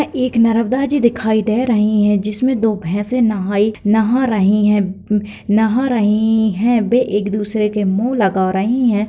एक नर्बदा जी दिखाई दे रही है जिसमें दो भैंसे नहाई नहा रही है नहा रही है वे एक दूसरे के मुँह लगा रही है।